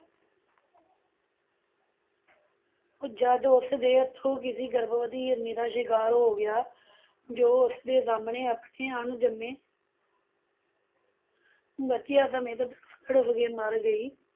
ਜਦ ਉਸਦੇ ਹੱਥੋਂ ਕਿਸੀ ਗਰਭਵਤੀ ਹਿਰਨੀ ਦਾ ਸ਼ਿਕਾਰ ਹੋ ਗਿਆ, ਜੋ ਉਸਦੇ ਸਾਹਮਣੇ ਆਪਣੇ ਅਣਜੰਮੇ ਬੱਚਿਆਂ ਸਮੇਤ ਤੜਪ ਤੜਪ ਕੇ ਮਰ ਗਈ,